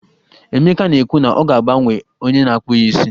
Emeka na-ekwu na ya ga-agbanwe onye na-akpụ ya isi.